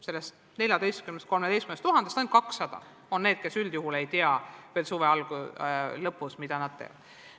Sellest 14 000-st, 13 000-st ainult 200 on need, kes suve lõpus veel üldjuhul ei tea, mida nad teha kavatsevad.